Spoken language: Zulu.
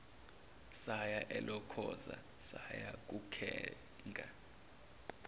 saya elokhoza sayokuthenga